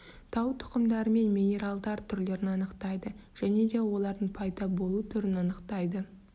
тау тұқымдары мен минералдар түрлерін анықтайды және де олардың пайда болу түрін анықтайды